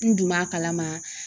N dun b'a kalama